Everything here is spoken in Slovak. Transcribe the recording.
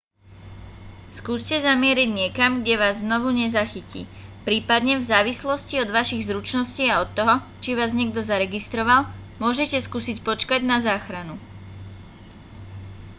skúste zamieriť niekam kde vás znovu nezachytí prípadne v závislosti od vašich zručností a od toho či vás niekto zaregistroval môžete skúsiť počkať na záchranu